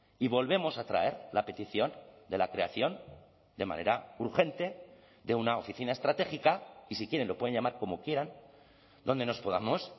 y volvemos a traer la petición de la creación de manera urgente de una oficina estratégica y si quieren lo pueden llamar como quieran donde nos podamos